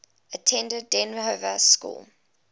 attended dynevor school